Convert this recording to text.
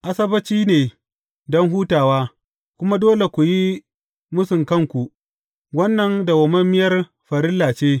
Asabbaci ne don hutawa, kuma dole ku yi mūsun kanku; wannan dawwammamiyar farilla ce.